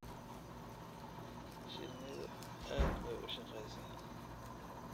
Shinnidu aad bay u shaqeysaa.